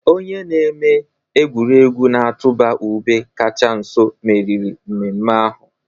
Onye na-eme egwuregwu na-atụba ube kacha nso meriri mmemme ahụ.